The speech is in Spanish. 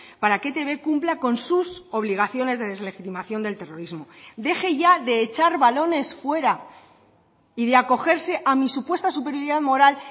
para que etb cumpla con sus obligaciones de deslegitimación del terrorismo deje ya de echar balones fuera y de acogerse a mi supuesta superioridad moral